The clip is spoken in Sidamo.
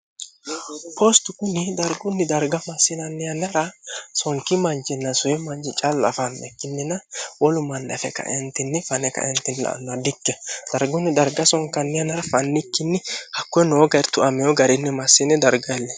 poosti kuni dargunni darga massinanni yanara sonki mancinna suwi manci calla afanne kinnina wolu mannafe kaentinni fane kaenti alnoa dikke dargunni darga sonkanni yanara fannikkinni hakkoe noo gair tuameyo garinni massiine dargaille